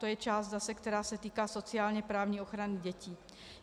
To je část zase, která se týká sociálně-právní ochrany dětí.